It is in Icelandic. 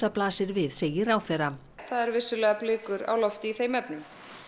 blasir við segir ráðherra það eru vissulega blikur í þeim efnum